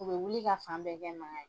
U bɛ wuli ka fan bɛɛ kɛ magan ye.